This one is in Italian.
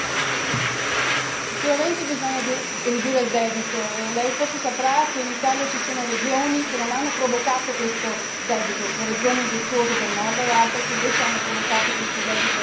Sicuramente bisogna ridurre il debito e lei forse saprà che in Italia ci sono regioni che non hanno provocato questo debito, le regioni virtuose del nord e le altre che invece hanno provocato questo debito immenso.